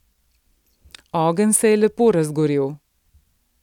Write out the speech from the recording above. Ogenj se je lepo razgorel.